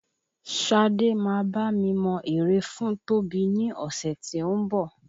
Sade máa bá mi mọ ère Tóbi ní ọ̀sẹ̀ tí ó ń bọ̀